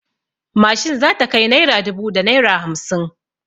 Mashin za ta kai naira dubu da naira hamsin.